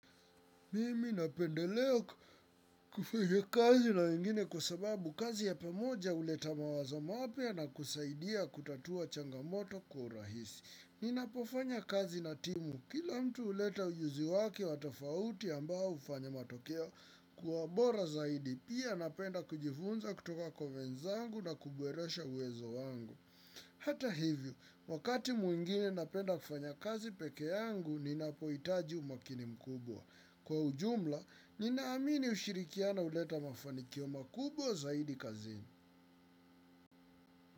Mimi napendelea kufanya kazi na wengine kwa sababu kazi ya pamoja huleta mawazo mapya na kusaidia kutatua changamoto kwa urahisi. Ninapofanya kazi na timu. Kila mtu huleta ujuzi wake wa tofauti ambao hufanya matokeo kuwa bora zaidi. Pia napenda kujifunza kutoka kwa wenzangu na kuboresha uwezo wangu. Hata hivyo, wakati mwingine napenda kufanya kazi peke yangu, ninapohitaji umakini mkubwa. Kwa ujumla, ninaamini ushirikiano huleta mafanikio makubwa zaidi kazini.